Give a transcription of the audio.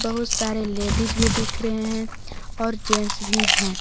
बहुत सारे लेडीज भी दिख रहे हैं और जेंट्स भी हैं।